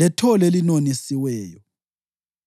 lethole elinonisiweyo.